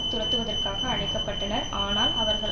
துரத்துவதற்காக அழைக்க பட்டனர் ஆனால் அவர்கள்